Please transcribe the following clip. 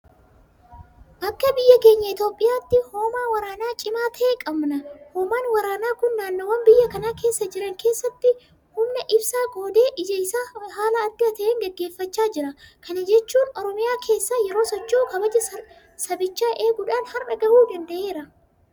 Akka biyya keenya Itoophiyaatti hoomaa waraanaa cimaa ta'e qabna. Hoomaan waraanaa kun naannoowwan biyya kana keessa jiran keessatti humnabisaa qoodee hojii isaa haala adda ta'een gaggeeffachaa jira. Kana jechuun Oromiyaa keessa yeroo socho'u kabaja sabichaa eeguudhaan har'a gahuu danda'eera.